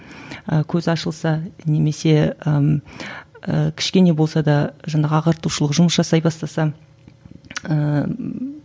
і көзі ашылса немесе ііі кішкене болса да жаңағы ағартушылық жұмыс жасай бастаса ііі